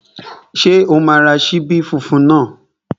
Ṣé o máa ra ṣíbí funfun náà?